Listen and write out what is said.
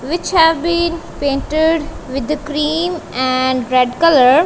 which have been painted with the cream and red colour.